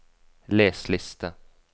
les liste